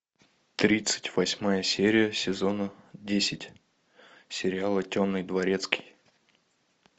тридцать восьмая серия сезона десять сериала темный дворецкий